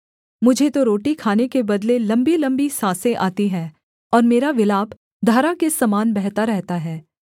मुझे तो रोटी खाने के बदले लम्बीलम्बी साँसें आती हैं और मेरा विलाप धारा के समान बहता रहता है